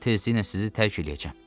Mən tezliklə sizi tərk eləyəcəm.